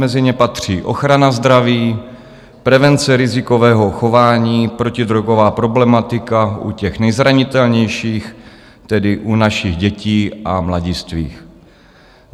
Mezi ně patří: ochrana zdraví, prevence rizikového chování, protidrogová problematika u těch nejzranitelnějších, tedy u našich dětí a mladistvých.